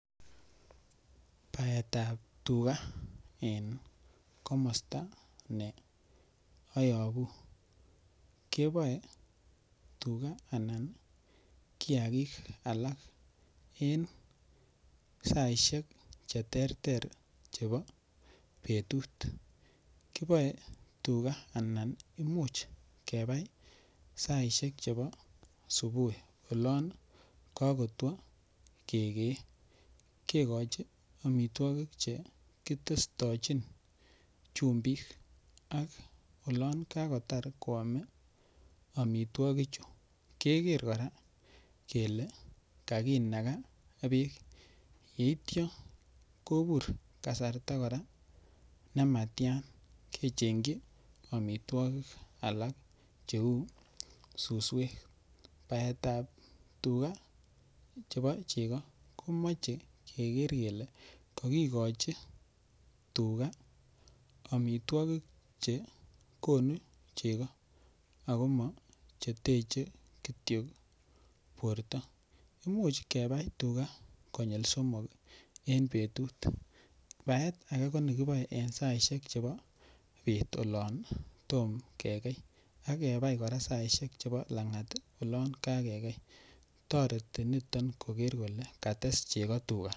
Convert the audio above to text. Baetab tuga en komosta neayobu keboen tuga anan kiyakik alak en saishek cheterter chebo betut kiboei tuga anan much kebai saishek chebo subui olon kakotwo kekei kekochin omitwokik chekitestochin chumbik ak olon kakotar kwomei omitwokichu keker kora kele kakinaka beek yeityo kobur kasarta kora nematya kecheng'ji omitwokik alak cheu suswek baetab tuga chebo chego komochei keker kele kakikochi tuga omitwokik che konu cheko akomacheteche kityo borto much kebai tuga konyul somok eng' betut baet age ko nekiboei eng' saishek chebo beet olon tom kekei akebai kora saishek chebo lang'at olon kakekei toreti niton koker kole kates chego tuga